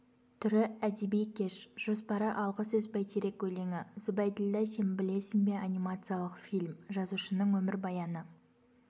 түрі әдеби кеш жоспары алғы сөз бәйтерек өлеңі зүбайділдә сен білесің бе анимациялық фильм жазушының өмірбаяны